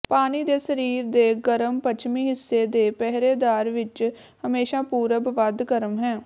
ਪਾਣੀ ਦੇ ਸਰੀਰ ਦੇ ਗਰਮ ਪੱਛਮੀ ਹਿੱਸੇ ਦੇ ਪਹਿਰੇਦਾਰ ਵਿੱਚ ਹਮੇਸ਼ਾ ਪੂਰਬ ਵੱਧ ਗਰਮ ਹੈ